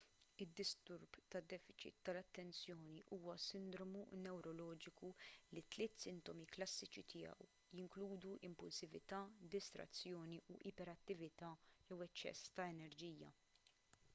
id-disturb ta' defiċit tal-attenzjoni huwa sindromu newroloġiku li t-tliet sintomi klassiċi tiegħu jinkludu impulsività distrazzjoni u iperattività jew eċċess ta' enerġija